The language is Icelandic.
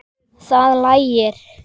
Það lægir.